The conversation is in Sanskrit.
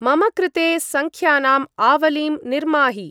मम कृते सङ्ख्यानाम् आवलिं निर्माहि।